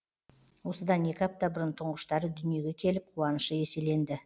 осыдан екі апта бұрын тұңғыштары дүниеге келіп қуанышы еселенді